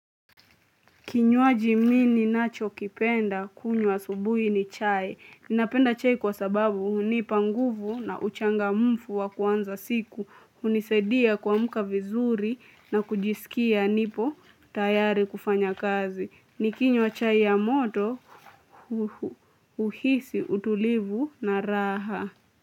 Kinywaji mi ninacho kipenda kunywa asubuhi ni chai. Ninapenda chai kwa sababu hunipa nguvu na uchangamfu wa kuanza siku. Hunisaidia kuamka vizuri na kujisikia nipo tayari kufanya kazi. Nikinywa chai ya moto huhisi utulivu na raha.